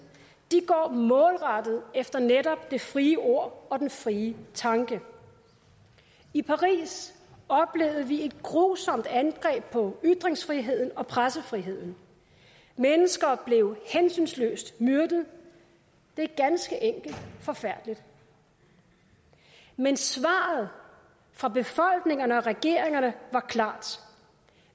går målrettet efter netop det frie ord og den frie tanke i paris oplevede vi et grusomt angreb på ytringsfriheden og pressefriheden mennesker blev hensynsløst myrdet det er ganske enkelt forfærdeligt men svaret fra befolkningerne og regeringerne var klart